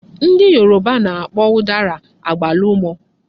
Ndị Yoruba na-akpọ ụdara "agbalụ́mọ"